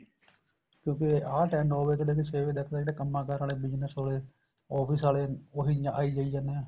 ਕਿਉਂਕਿ ਆਹ time ਨੋ ਵਜੇ ਤੋਂ ਲੈਕੇ ਛੇ ਵਜੇ ਤੱਕ ਤਾਂ ਜਿਹੜੇ ਕੰਮਾ ਕਾਰਾਂ ਆਲੇ business office ਆਲੇ ਆਲੇ ਉਹੀ ਆਈ ਜਾਈ ਜਾਂਦੇ ਆ